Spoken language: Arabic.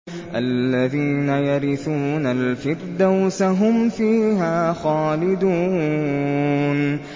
الَّذِينَ يَرِثُونَ الْفِرْدَوْسَ هُمْ فِيهَا خَالِدُونَ